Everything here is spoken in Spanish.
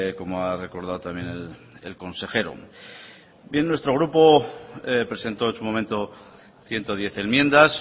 como ha recordado también el consejero bien nuestro grupo presentó en su momento ciento diez enmiendas